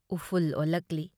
ꯏꯐꯨꯜ ꯑꯣꯜꯂꯛꯂꯤ ꯫